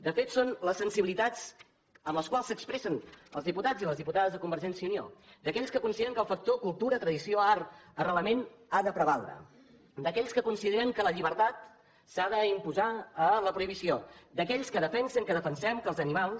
de fet són les sensibilitats amb les quals s’expressen els diputats i les diputades de convergència i unió d’aquells que consideren que el factor cultura tradició art arrelament ha de prevaldre d’aquells que consideren que la llibertat s’ha d’imposar a la prohibició d’aquells que defensen que defensem que els animals